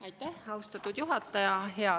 Aitäh, austatud juhataja!